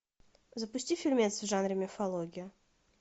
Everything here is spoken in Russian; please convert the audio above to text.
запусти фильмец в жанре мифология